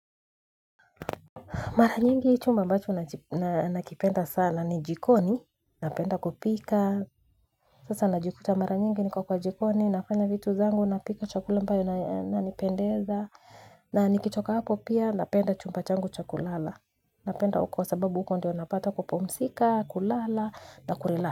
Mara nyingi chumba ambacho na nakipenda sana ni jikoni napenda kupika sasa najikuta mara nyingi niko kwa jikoni nafanya vitu zangu napika chakula ambayo na nipendeza na nikichoka hapo pia napenda chumba changu chakulala napenda uko sababu uko ndio napata kupumsika kulala na kulala.